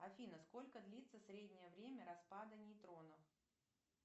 афина сколько длится среднее время распада нейтронов